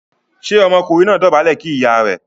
ṣe Ọmọkùnrin náà dobale kí ìyá rẹ̀?